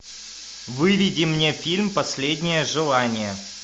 выведи мне фильм последнее желание